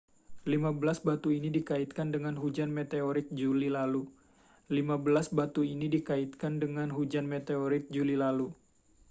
lima belas batu ini dikaitkan dengan hujan meteorit juli lalu